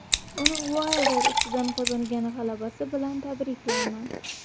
Uni Uaylder ustidan qozongan g‘alabasi bilan tabriklayman.